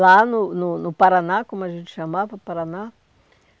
Lá no no no Paraná, como a gente chamava, Paraná.